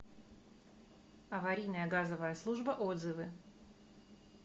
аварийная газовая служба отзывы